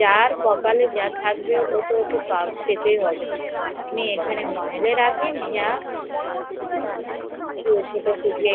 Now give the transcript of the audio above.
যার কপালে যা থাকবে ওকে তা পেতে হবে সে আপনি তাকে মহলে রাখুন যা কুঠির